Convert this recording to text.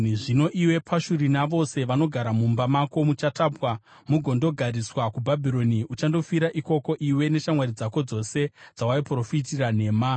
Zvino iwe Pashuri, navose vanogara mumba mako muchatapwa mugondogariswa kuBhabhironi. Uchandofira ikoko, iwe neshamwari dzako dzose dzawaiprofitira nhema.’ ”